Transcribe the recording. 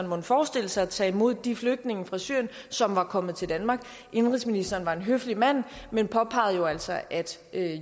mon forestille sig at tage imod de flygtninge fra syrien som var kommet til danmark indenrigsministeren var en høflig mand men påpegede jo altså at